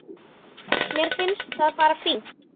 Mér finnst það bara fínt.